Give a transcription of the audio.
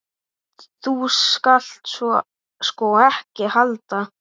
Þú skalt sko ekki halda.